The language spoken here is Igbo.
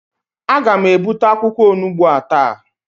Aga m ebute akwụkwọ onugbu a taa